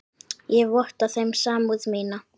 Ég votta þeim samúð mína.